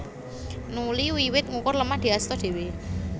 Nuli wiwit ngukur lemah diasta dhéwé